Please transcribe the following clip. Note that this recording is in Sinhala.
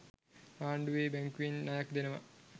ආණ්ඩුවෙ බැංකුවෙන් ණයක් දෙනවා.